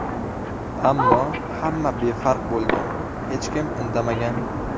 Ammo hamma befarq bo‘lgan, hech kim indamagan.